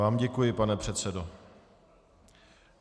Já vám děkuji, pane předsedo.